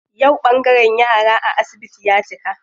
Yau ɓangaren yara a asibiti ya cika.